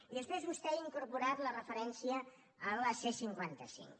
i després vostè ha incorporat la referència a la c cinquanta cinc